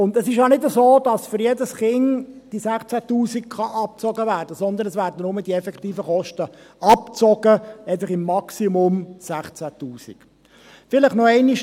Und es ist ja nicht so, dass diese 16’000 Franken für jedes Kind abgezogen werden können, sondern es werden nur die effektiven Kosten abgezogen, einfach maximal 16’000 Franken.